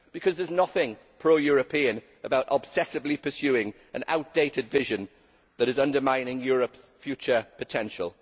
Because there is nothing pro European about obsessively pursuing an outdated vision that is undermining Europe's future potential.